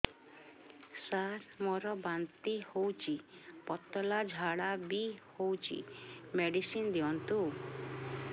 ସାର ମୋର ବାନ୍ତି ହଉଚି ପତଲା ଝାଡା ବି ହଉଚି ମେଡିସିନ ଦିଅନ୍ତୁ